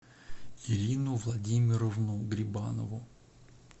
ирину владимировну грибанову